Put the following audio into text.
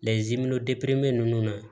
ninnu na